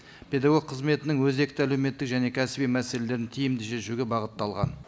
педагог қызметінің өзекті әлеуметтік және кәсіби мәселелерін тиімді шешуге бағытталған